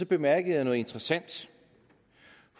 bemærkede noget interessant